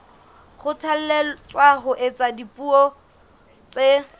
kgothalletswa ho ithuta dipuo tse